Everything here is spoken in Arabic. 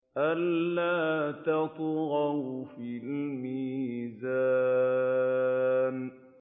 أَلَّا تَطْغَوْا فِي الْمِيزَانِ